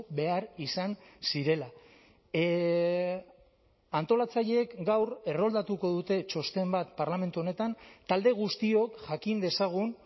behar izan zirela antolatzaileek gaur erroldatuko dute txosten bat parlamentu honetan talde guztiok jakin dezagun